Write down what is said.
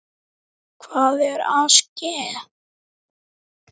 Hvað er að ske?